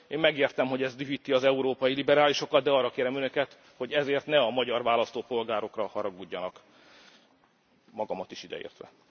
Én megértem, hogy ez dühíti az európai liberálisokat, de arra kérem Önöket, hogy ezért ne a magyar választópolgárokra haragudjanak, magamat is ideértve.